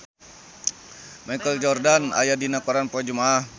Michael Jordan aya dina koran poe Jumaah